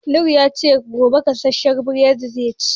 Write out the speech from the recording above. Noor ya ce, gobe gasashen buredi zai ci.